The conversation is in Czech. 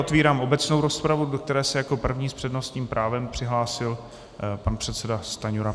Otevírám obecnou rozpravu, do které se jako první s přednostním právem přihlásil pan předseda Stanjura.